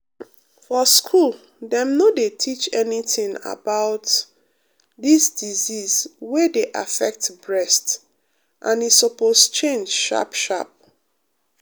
for school dem no dey teach anytin about dis disease wey dey affect breast and e supose change sharp sharp.